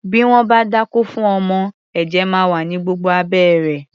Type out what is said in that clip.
Bí wọ́n bá dákó fún ọmọ, ẹ̀jẹ̀ máa wà ní gbogbo abẹ́ rẹ̀.